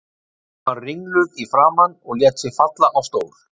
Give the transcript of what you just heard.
Hún var ringluð í framan og lét sig falla á stól.